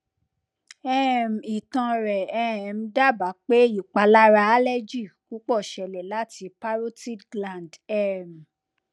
um itan rẹ um daba pe ipalara allergy pupo sele lati parotid gland um